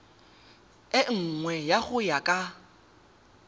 e nngwe go ya ka